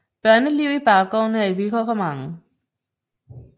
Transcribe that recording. Børneliv i baggårdene er et vilkår for mange